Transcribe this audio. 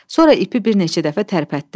Sonra ipi bir neçə dəfə tərpətdi.